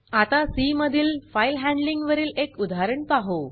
आता सी मधील file handling वरील एक उदाहरण पाहू